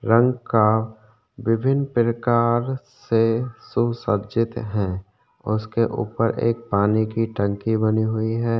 रंग का विभिन प्रकार से सुसज्जित हैं और उसके उपर एक पानी की टंकी बनी हुई है।